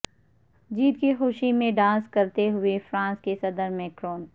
جیت کی خوشی میں ڈانس کرتے ہوئے فرانس کے صدر میکرون